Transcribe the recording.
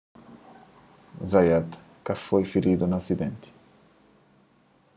zayat ka foi firidu na asidenti